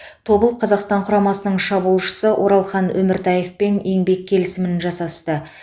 тобыл қазақстан құрамасының шабуылшысы оралхан өміртаевпен еңбек келісімін жасасты